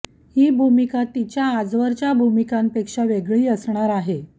ही भूमिका तिच्या आजवरच्या भूमिकांपेक्षा वेगळी असणार आहे